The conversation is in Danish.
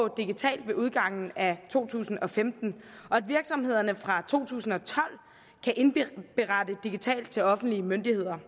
digitalt ved udgangen af to tusind og femten og at virksomhederne fra to tusind og tolv kan indberette digitalt til offentlige myndigheder